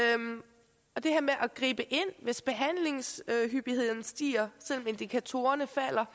og det her med at gribe ind hvis behandlingshyppigheden stiger selv om indikatorerne falder